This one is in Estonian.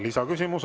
Lisaküsimus.